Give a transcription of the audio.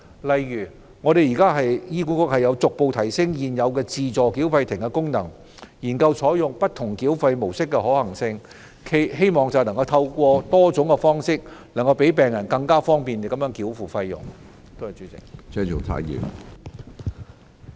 例如現時醫管局逐步提升現有自助繳費亭的功能，並研究採用不同繳費模式的可行性，希望透過多種方式，更利便病人繳付費用。